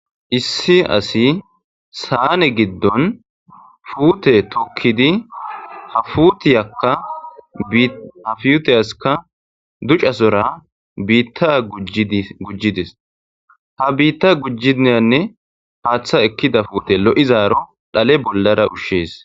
issi asi saane giddon fuute tukidi hafutiyaka ha fiyuteyaska ducasora biitta gujjidis ha biitta gujjiiyanne haaththa ekkida fuute lo7izaaro dhale bollara ushshees